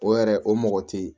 O yɛrɛ o mɔgɔ te yen